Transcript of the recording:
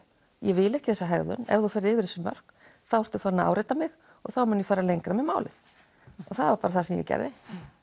ég vil ekki þessa hegðun ef þú ferð yfir þessi mörk þá ertu farin n að áreita mig og þá mun ég fara lengra með málið það var bara það sem ég gerði